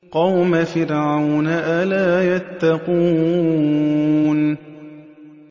قَوْمَ فِرْعَوْنَ ۚ أَلَا يَتَّقُونَ